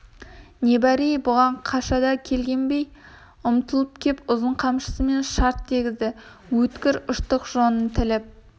не бар ей бұған қашада келгенбай ұмтылып кеп ұзын қамшысымен шарт дегізді өткір ұштық жонын тіліп